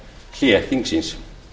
sumarhlé þingsins